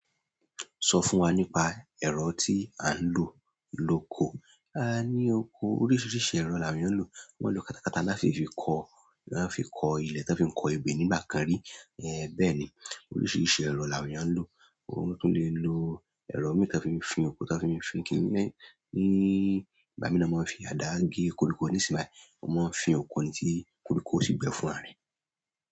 Sọ fún wa nípa ẹ̀rọ tí a ń lò lóko. A ní oko oríṣiríṣi ẹ̀rọ là wón èèyàn ń lò. Wọ́n lo katakata láti fi kọ, là fi kọ ilẹ̀, tán fi kọ ebè nígbà kan rí. Ẹ bẹ́ẹ̀ ni, oríṣiríṣi ẹ̀rọ là wón èèyàn ń lò. Wọ́n tún le lo ẹ̀rọ mìíràn tí wọ́n fi ń fín oko, tí wọ́n fi ń fín kiní lẹ́ ẹ̀ ní, bá ní lọ máa fi àdá gé koríko ní ìsìn máa ń fín oko ni tí koríko sì gbẹ fún ara ẹ.